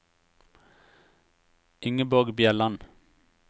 Ingeborg Bjelland